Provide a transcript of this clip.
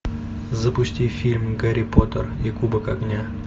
запусти фильм гарри поттер и кубок огня